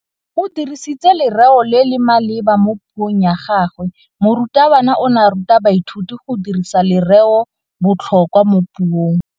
O dirisitse lerêo le le maleba mo puông ya gagwe. Morutabana o ne a ruta baithuti go dirisa lêrêôbotlhôkwa mo puong.